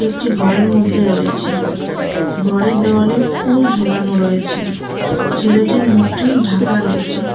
একটি ঘরের মধ্যে রয়েছে ঘরের দেওয়ালে ফুল ঝোলানো রয়েছে ছেলেটির মুখটি ঢাকা রয়েছে।